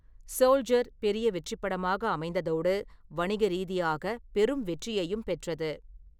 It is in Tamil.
சோல்ஜர்' பெரிய வெற்றிப் படமாக அமைந்ததோடு, வணிக ரீதியாக பெரும் வெற்றியையும் பெற்றது.